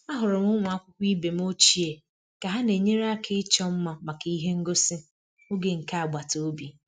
Ahụrụ m ụmụ akwụkwọ ibe m ochie ka ha na-enyere aka ịchọ mma maka ihe ngosi oge nke agbata obi